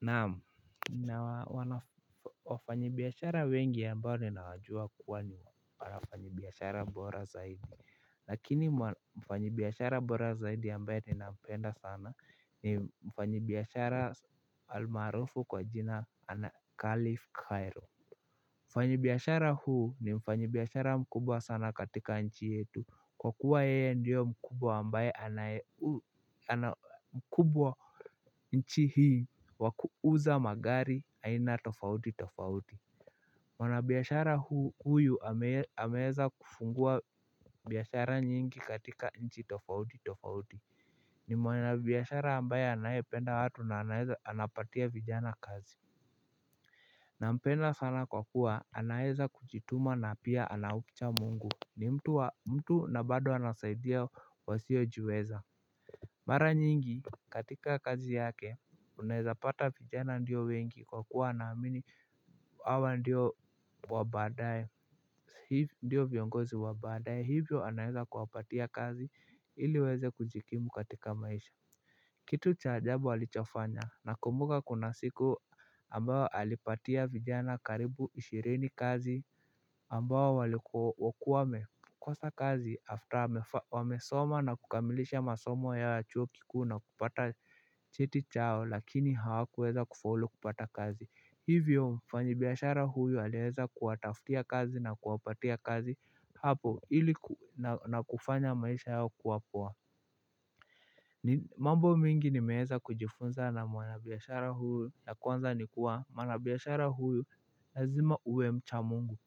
Naam, nina wanafanyibiashara wengi ambao ninawajua kuwa ni wanafanyi biashara bora zaidi, lakini mfanyibiashara bora zaidi ambaye ninapenda sana ni mfanyibiashara almaarufu kwa jina la khalif Cairo. Mfanyibiashara huyu ni mfanyibiashara mkubwa sana katika nchi yetu, kwa kuwa yeye ndio mkubwa ambaye ana mkubwa nchi hii, wa kuuza magari aina tofauti tofauti. Mwanabiashara huyu ameweza kufungua biashara nyingi katika nchi tofauti tofauti. Ni mwanabiashara ambaye anayependa watu na anaweza anapatia vijana kazi. Nampenda sana kwa kuwa anaweza kujituma na pia anaucha mungu. Ni mtu na bado anasaidia wasiojiweza. Mara nyingi katika kazi yake, unaweza pata vijana ndio wengi kwa kuwa anaamini hawa ndio viongozi wabaadaye. Hivyo anaweza kuwapatia kazi, ili waweze kujikimu katika maisha. Kitu cha ajabu alichofanya, nakumbuka kuna siku ambayo alipatia vijana karibu ishirini kazi ambayo walikuwa wamekosa kazi 'after' wamesoma na kukamilisha masomo ya chuo kikuu na kupata cheti chao, lakini hawakuweza kufaulu kupata kazi. Hivyo mfanyibiashara huyu aliweza kuwataftia kazi na kuwapatia kazi. Hapo, ili na kufanya maisha yao kuwa poa. Mambo mingi nimeweza kujifunza na mwanabiashara huyu ya kwanza ni kuwa, mwanabiashara huyu, lazima uwe mcha mungu.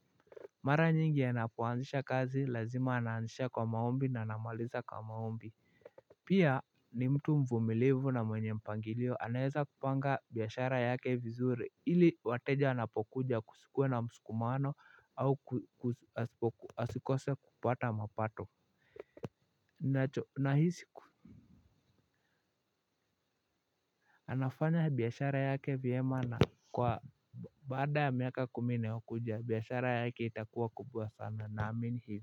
Mara nyingi anapoanzisha kazi lazima anaanzisha kwa maombi na anamaliza kwa maombi. Pia ni mtu mvumilivu na mwenye mpangilio. Anaweza kupanga biashara yake vizuri ili wateja wanapokuja kusikue na msukumano au asikose kupata mapato. Nahisi. Anafanya biashara yake vyema na kwa baada miaka kumi inayokuja, biashara yake itakuwa kubwa sana. Namini hivyo.